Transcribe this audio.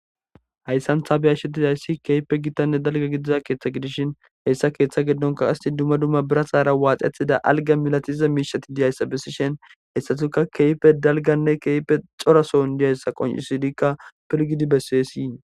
Hayssanthabiyashedidayssi keepe gittanne dalga gidiza keeththa gidishin heyssa keeththa geddonka qasi dumma dumma bira saara waaxethida alga milatize miishati diyayssa bessishen hessatuka keype dalganne keeppe xorason diyayssa qoncisidikka pirgidi besseesii